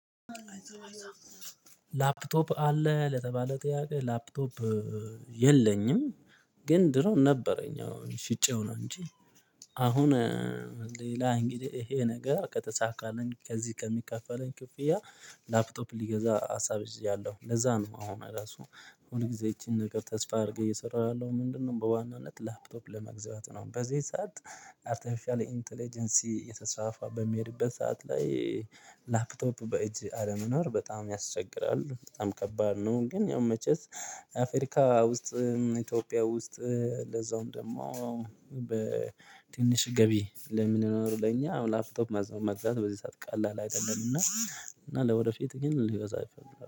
ላፕቶፕ አለህ ለተባለ ጥያቄ ላፕቶፕ የለኝም። ግን ድሮ ነበረኝ አሁን ሽጬው ነው እንጂ። አሁን ሌላ እንግዲህ ይሄ ነገር ከተሳካልን ከዚህ ከሚከፈለን ክፍያ። ላፕቶፕ ልገዛ ሀሳብ ይዣለው ለዛ ነው። አሁን ራሱ ሁል ጊዜ ይቺን ነገር ተስፋ አድርጌ እየሰራሁ ያለው ምንድነው? በዋናነት ላፕቶፕ ለመግዛት ነው። በዚህ ሰዓት አርቴፊሻል ኢንተለጀንሲ እየተስፋፋ በሚሄድበት ሰዓት ላይ። ላፕቶፕ በእጅ አለመኖር በጣም ያስቸግራል በጣም ከባድ ነው። ግን ያው መቼስ አፍሪካ ውስጥ ኢትዮጵያ ውስጥ ለዛውም ደግሞ በትንሽ ገቢ ለሚኖር ለኛ አሁን ላፍቶፕ መዝ መግዛት በዚህ ሰዓት ቃል ላይ አይደለምና። እና ለወደፊት ግን እገዛለሁ